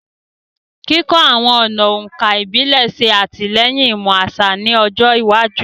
Kikọ awọn ọna òǹkà ibile ṣe atilẹyin imọ aṣa ni ọjọ iwaju